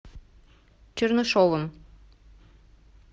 чернышевым